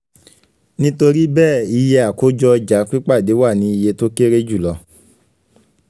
nitori bẹẹ iye akojo ọja pipade wa ni iye to kere julọ